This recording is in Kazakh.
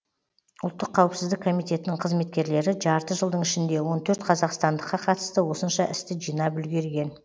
ұлттық қауіпсіздік комитетінің қызметкерлері жарты жылдың ішінде он төрт қазақстандыққа қатысты осынша істі жинап үлгерген